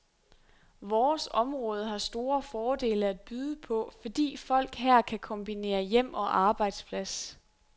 Vores område har store fordele at byde på, fordi folk her kan kombinere hjem og arbejdsplads.